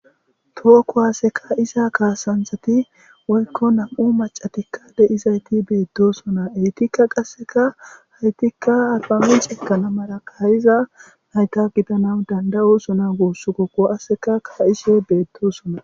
Tookkohaseka isa kaasanthati woykko nam'u macatikka de'izayti beettosona eytikka qasseka haytikka alpamen ceekanamara kayiza nayta gidana danda'usona guuss kokko aseka ka'isee beettosona.